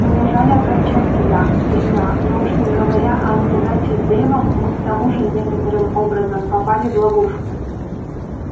мне жаль огорчать тебя старина но уж не говоря о неудаче с дейвом мы к тому же некоторым образом попали в ловушку